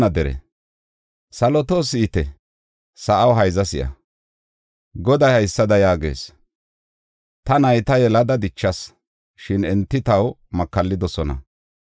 Saloto si7ite; sa7aw hayza si7a; Goday haysada yaagees; “Ta nayta yelada dichas; shin enti taw makallidosona.